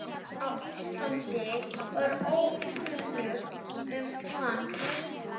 á Íslandi var ókunnugt um hann.